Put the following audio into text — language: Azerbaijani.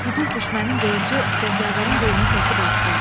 Quduz düşmənin qılıncı cəngavərin qolunu kəsib atdı.